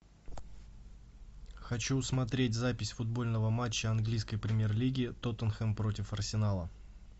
хочу смотреть запись футбольного матча английской премьер лиги тоттенхэм против арсенала